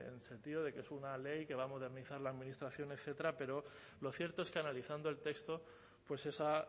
en el sentido de que es una ley que va a modernizar la administración etcétera pero lo cierto es que analizando el texto pues esa